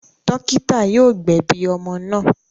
Dọ́kítá yóò gbẹ̀bi ọmọ náà.